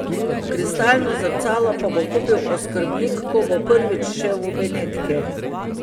Kristalno zrcalo pa bo kupil oskrbnik, ko bo prvič šel v Benetke.